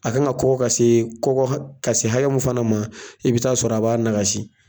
A kan ka kɔkɔ ka se kɔkɔ ka se hakɛ mun fana ma i bi taa sɔrɔ a b'a nagasi.